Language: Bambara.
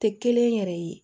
Tɛ kelen yɛrɛ ye